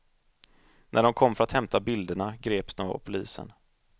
När de kom för att hämta bilderna, greps de av polisen.